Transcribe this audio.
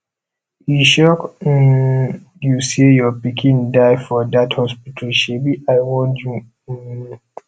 e shock um you say your pikin die for dat hospital shebi i warn you um